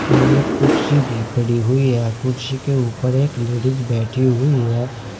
और एक कुडर्सी भी पड़ी हुई है कुडशी के ऊपर एक लेडिस बैठी हुई है।